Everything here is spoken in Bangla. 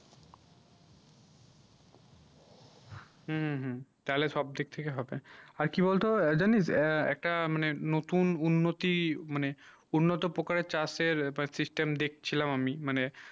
হম হম তালে সব দিক থেকে হবে আর কি বল তো জানিস একটা মানে নতুন উন্নতি মানে উন্টতো পোকার চাষে system দেখ ছিলাম আমি মানে